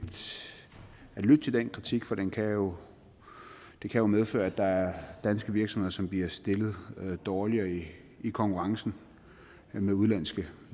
at lytte til den kritik for det kan jo jo medføre at der er danske virksomheder som bliver stillet dårligere i i konkurrencen med udenlandske